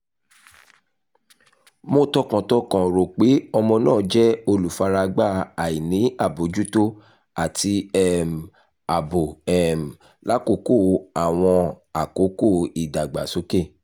mo tọkàntọkàn ro pe ọmọ naa jẹ olufaragba aini abojuto ati um aabo um lakoko awọn akoko idagbasoke